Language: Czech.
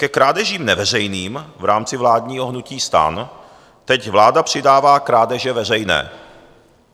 Ke krádežím neveřejným v rámci vládního hnutí STAN teď vláda přidává krádeže veřejné.